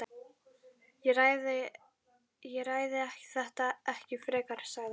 Ég ræði þetta ekki frekar sagði hann.